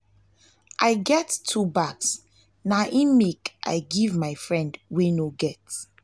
i get two bags na im make i give my friend wey no get.